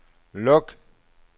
luk